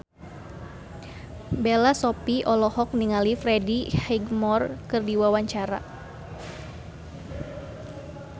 Bella Shofie olohok ningali Freddie Highmore keur diwawancara